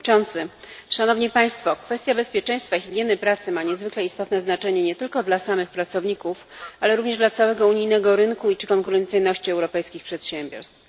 Panie Przewodniczący! Szanowni Państwo! Kwestia bezpieczeństwa i higieny pracy ma niezwykle istotne znaczenie nie tylko dla samych pracowników, ale również dla całego unijnego rynku i konkurencyjności europejskich przedsiębiorstw.